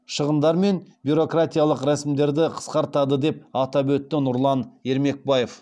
шығындар мен бюрократиялық рәсімдерді қысқартады деп атап өтті нұрлан ермекбаев